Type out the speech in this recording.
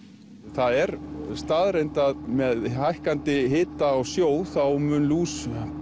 það er staðreynd að með hækkandi hita á sjó þá mun lús